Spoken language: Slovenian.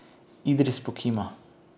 Idris pokima.